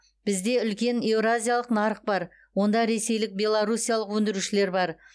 бізде үлкен еуразиялық нарық бар онда ресейлік белоруссиялық өндірушілер бар